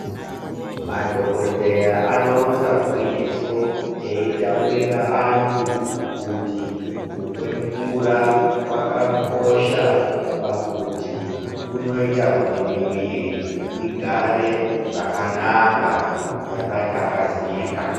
Madhokoteya anoronza gwinyiso eyitaurira antu kuti kumwe mvura kwakakosha pakuti kunoita kuti miwiri igare zvakanaka yakatakazika.